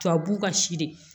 Tubabu ka si de